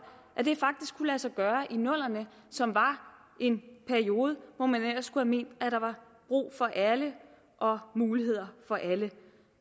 at det faktisk kunne lade sig gøre i nullerne som var en periode hvor man ellers skulle have ment at der var brug for alle og muligheder for alle